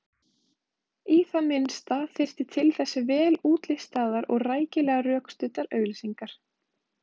Í það minnsta þyrfti til þess vel útlistaðar og rækilega rökstuddar auglýsingar.